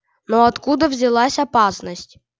но откуда взялась опасность